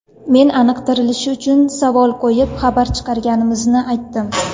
Men aniqlashtirilishi uchun savol qo‘yib, xabar chiqarganimizni aytdim.